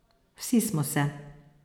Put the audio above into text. Vsi smo se.